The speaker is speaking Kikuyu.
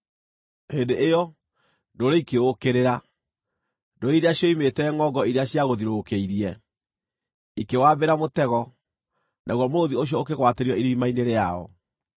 Hĩndĩ ĩyo, ndũrĩrĩ ikĩũũkĩrĩra, ndũrĩrĩ iria cioimĩte ngʼongo iria ciagũthiũrũrũkĩirie. Ikĩwambĩra mũtego, naguo mũrũũthi ũcio ũkĩgwatĩrio irima-inĩ rĩao.